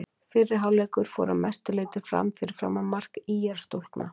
Fyrri hálfleikur fór að mestu leiti fram fyrir framan mark ÍR-stúlkna.